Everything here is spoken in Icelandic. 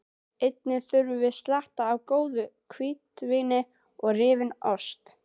Einnig þurfum við slatta af góðu hvítvíni og rifinn ost.